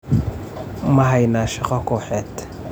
Ma haynaa shaqo kooxeed?